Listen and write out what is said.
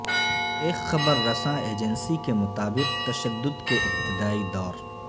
ایک خبر رساں ایجینسی کے مطابق تشدد کے ابتدائی دور